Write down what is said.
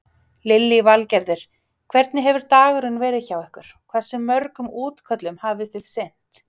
Lillý Valgerður: Hvernig hefur dagurinn verið hjá ykkur, hversu mörgum útköllum hafi þið sinnt?